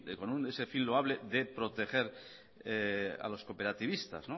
con ese fin loable de proteger a los cooperativistas